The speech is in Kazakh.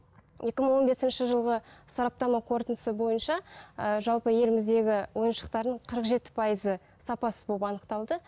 екі мың он бесінші жылғы сараптама қортындысы бойынша ыыы жалпы еліміздегі ойыншықтардың қырық жеті пайызы сапасыз болып анықталды